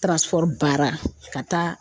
baara ka taa